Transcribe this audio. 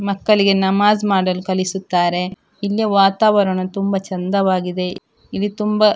ಮಕ್ಕಳಿಗೆ ನಮಾಝ್‌ ಮಾಡಲು ಕಲಿಸುತ್ತಾರೆ ಇಲ್ಲಿಯ ವಾತಾವರಣವು ತುಂಬ ಚಂದವಾಗಿದೆ ಇಲ್ಲಿ ತುಂಬ --